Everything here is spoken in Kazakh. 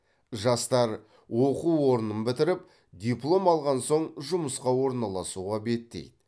жастар оқу орнын бітіріп диплом алған соң жұмысқа орналасуға беттейді